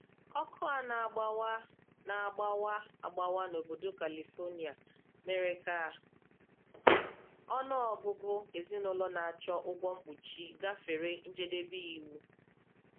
Ọkụ a na-agbawa a na-agbawa agbawa n'obodo Kalifonia mere ka ọnụọgụgụ ezinụlọ na-achọ ụgwọ mkpuchi gafere njedebe iwu.